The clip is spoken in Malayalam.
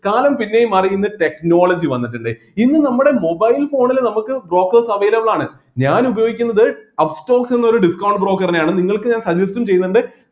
കാലം പിന്നെയും മാറി ഇന്ന് technology വന്നിട്ടിണ്ട് ഇന്ന് നമ്മടെ mobile phone ൽ നമ്മക്ക് brokers available ആണ് ഞാൻ ഉപയോഗിക്കുന്നത് upstox എന്നൊരു discount broker നെയാണ് നിങ്ങൾക്ക് ഞാൻ suggest ഉം ചെയ്യുന്നുണ്ട്